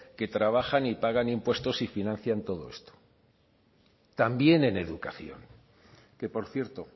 que trabajan y pagan impuestos y financian todo esto también en educación que por cierto